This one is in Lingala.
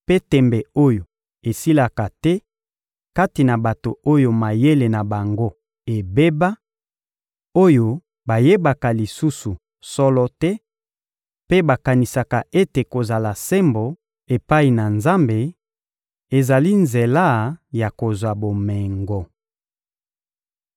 mpe tembe oyo esilaka te kati na bato oyo mayele na bango ebeba, oyo bayebaka lisusu solo te mpe bakanisaka ete kozala sembo epai na Nzambe ezali nzela ya kozwa bomengo.